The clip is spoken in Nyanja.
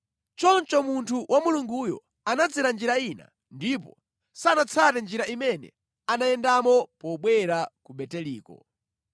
Choncho munthu wa Mulunguyo anadzera njira ina ndipo sanatsate njira imene anayendamo pobwera ku Beteliko.